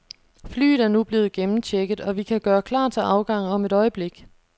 Flyet er nu blevet gennemchecket, og vi kan gøre klar til afgang om et øjeblik.